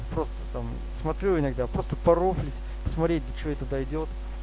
просто там смотрю иногда просто пару смотреть до чего это дойдёт